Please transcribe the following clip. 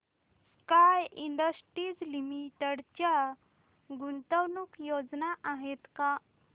sky Industries Limited च्या गुंतवणूक योजना आहेत का